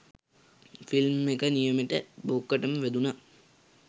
film එක නියමෙටම බොක්කටම වැදුනා